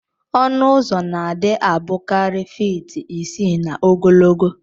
Ọnụ ụzọ na adi abukari feet isi na ogologo